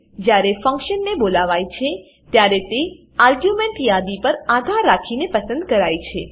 જ્યારે function function ને બોલાવાય છે ત્યારે તે આર્ગ્યુંમેંટ યાદી પર આધાર રાખીને પસંદ કરાય છે